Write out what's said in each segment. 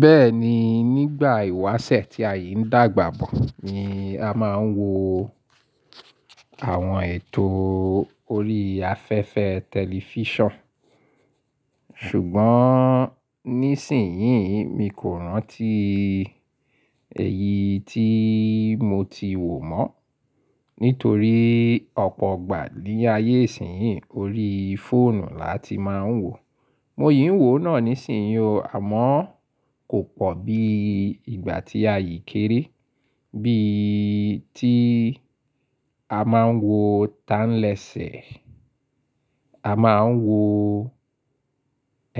Bẹ́ẹ̀ni, nígbà ìwáṣẹ̀ tí àyìí ń dàgbà bọ̀ ni a máa ń wo àwọn ètò orí afẹ́fẹ́ tẹlifíṣàn. Ṣùgbọ́n ní ìsìnyín, mi kò rántí eyi tí mo ti wò mọ́. Nítorí ọ̀pọ̀ ọgbà ní ayé ìsìnyí, orí fóònù la ti máa ń wò. Mo ií ń wò náà níìsín, àmọ́ kò pọ̀ bí ìgbà tí àyìí kéré. Bí i tí a máa ń wo "Tánlẹ́sẹ̀", a máa ń wo,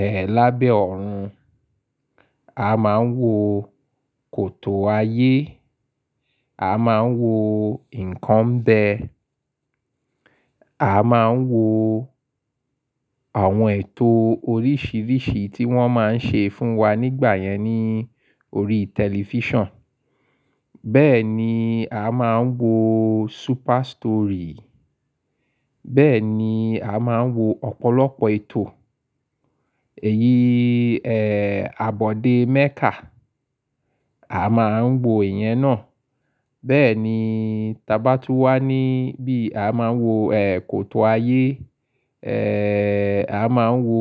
ẹ́, "Lábẹ́ Ọ̀run", a máa ń wo "Kòtò Ayé", a máa ń wo "Nǹkan Ń Bẹ́", a máa ń wo àwọn ètò oríṣìíríṣìí tí wọ́n máa ń ṣe fún wa nígbà yẹn ní orí tẹlifíṣàn. Bẹ́ẹ̀ ni a máa ń wo "Sú́pà Story", bẹ́ẹ̀ ni a máa ń wo ọ̀pọ̀lọpọ̀ ètò. Èyí, ẹ́, "Abọ̀dé Mẹ́kà", a máa ń wo ìyẹn náà. Bẹ́ẹ̀ ni, tí a tá ba tú wá níbí, a máa ń wo, ẹ́, "Kòtò Ayé", ẹ́, a máa ń wo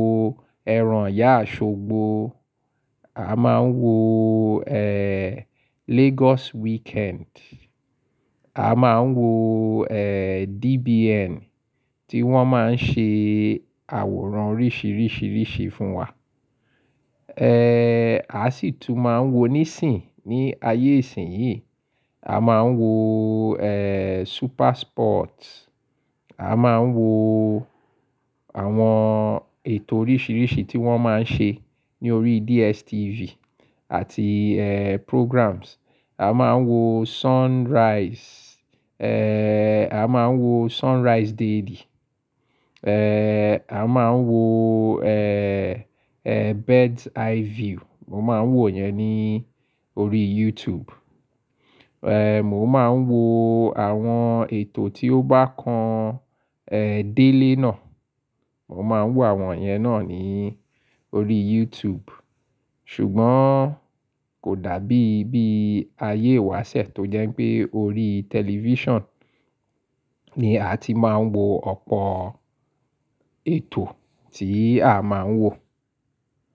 "Ẹran Ìyá Oṣògbó", a máa ń wo, ẹ́, "Lagos Weekend", a máa ń wo, ẹ́, "DBN" tí wọ́n máa ń ṣe àwòrán oríṣìíríṣìí fún wa. Ẹ́, a sì tún máa ń wo níìsín ní ayé ìsìnyí. A máa ń wo, ẹ́, "Super Sport", a máa ń wo àwọn ètò oríṣìíríṣìí tí wọ́n máa ń ṣe ní orí DSTV àti, ẹ́, programs. A máa ń wo "Sunrise", ẹ́, a máa ń wo "Sunrise Daily", ẹ́, a máa ń wo, ẹ́, ẹ́, "Bird's Eye View". Mo máa ń wò yẹn ní orí YouTube. Ẹ́, mo máa ń wo àwọn ètò tí ó bá kan, ẹ́, délé náà. Mo máa ń wò àwọn yẹn náà ní orí YouTube. Ṣùgbọ́n kò dàbí bí ayé ìwáṣẹ̀ tó jẹ́ pé orí tẹlifíṣàn ni a ti máa ń wo ọ̀pọ̀ ètò tí a máa ń wò.